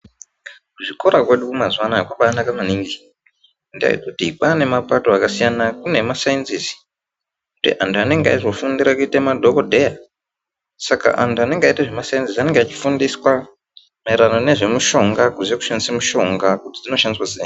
Kuzvikora kwedu mazuva anaya kwakanake maningi ngendaa yekuti kwaane mapato akasiyana kune emasayinzisi, antu anenge aizofundira kuite madhokodheya ska antu anenge achiita zvemasainzisi anenge achifundiswa maererano nezvemushonga, kuti zvekushandise mushonga kuti dzinoshandiswa sei.